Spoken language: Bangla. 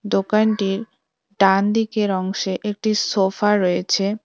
দোকানটির ডানদিকের অংশে একটি সোফা রয়েছে।